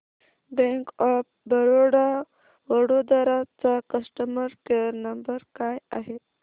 bank of Baroda Vadodara चा customer care number काय आहे